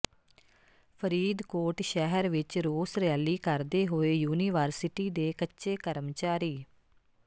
ਫ਼ਰੀਦਕੋਟ ਸ਼ਹਿਰ ਵਿੱਚ ਰੋਸ ਰੈਲੀ ਕਰਦੇ ਹੋਏ ਯੂਨੀਵਰਸਿਟੀ ਦੇ ਕੱਚੇ ਕਰਮਚਾਰੀ